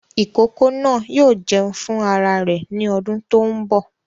Ìkókó náà yóò jẹun fún ara rẹ̀ ní ọdún tó ń bọ̀